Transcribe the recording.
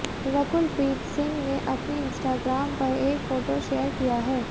रकुल प्रीत सिंह ने अपने इंस्टाग्राम पर एक फोटो शेयर किया है